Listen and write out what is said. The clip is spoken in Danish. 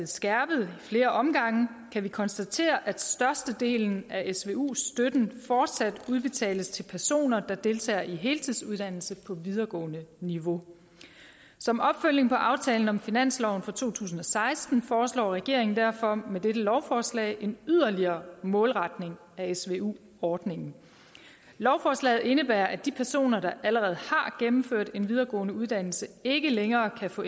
skærpet i flere omgange kan vi konstatere at størstedelen af svu støtten fortsat udbetales til personer der deltager i heltidsuddannelse på videregående niveau som opfølgning på aftalen om finansloven for to tusind og seksten foreslår regeringen derfor med dette lovforslag en yderligere målretning af svu ordningen lovforslaget indebærer at de personer der allerede har gennemført en videregående uddannelse ikke længere kan få